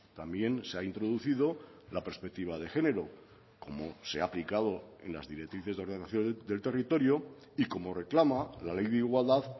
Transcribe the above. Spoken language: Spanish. también se ha introducido la perspectiva de género como se ha aplicado en las directrices de ordenación del territorio y como reclama la ley de igualdad